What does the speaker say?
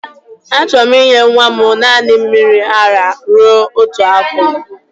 Achọrọ m inye nwa m naanị mmiri ara rue otu afọ